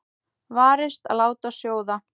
Varist að láta sjóða.